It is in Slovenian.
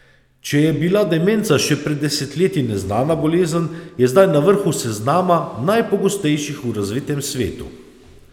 Če je bila demenca še pred desetletji neznana bolezen, je zdaj na vrhu seznama najpogostejših v razvitem svetu.